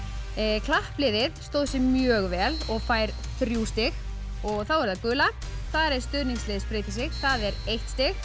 klappliðið stóð sig mjög vel og fær þrjú stig og þá er það gula þar er stuðningslið spreytir sig það er eitt stig